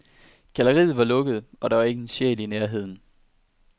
Galleriet var lukket, og der var ikke en sjæl i nærheden.